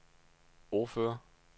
ordfører